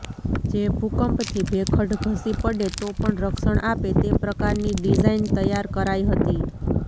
જે ભૂકંપથી ભેખડ ધસી પડે તો પણ રક્ષણ આપે તે પ્રકારની ડિઝાઇન તૈેયાર કરાઇ હતી